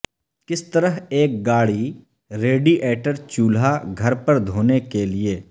کس طرح ایک گاڑی ریڈی ایٹر چولہا گھر پر دھونے کے لئے